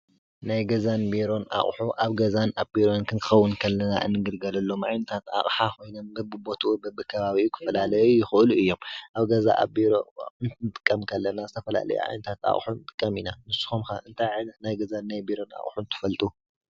ናይ ገዛን ቢሮን ኣቑሑ ኣብ ገዛን ኣብ ቢሮን ክንከውን እንከለና እንግልገለሎም ዓይነታት ኣቕሓ ኮይኖም በብቦትኡ በቢከባቢኡ ክፈላለዩ ይኽእሉ እዮም፡፡ ኣብ ገዛ ኣብ ቢሮ ኣቑሑ ክንጥቀም ከለና ዝተፈላለዩ ዓይነታት ኣቑሑ ንጥቀም ኢና፡፡ ንስኩም ከ እንታይ ዓይነት ናይ ገዛን ናይ ቢሮን ኣቁሑ ትፈልጡ?